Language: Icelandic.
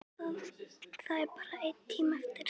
Það er bara einn tími eftir.